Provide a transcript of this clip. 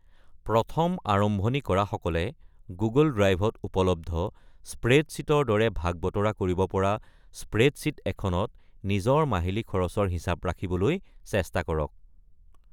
প্ৰথম আৰম্ৱণি কৰাসকলে গুগল ড্ৰাইভত উপলব্ধ স্প্ৰেডশ্বীটৰ দৰে ভাগ বতৰা কৰিব পৰা স্প্ৰেডশ্বীট এখনত নিজৰ মাহিলী খৰচৰ হিচাপ ৰাখিবলৈ চেষ্টা কৰক।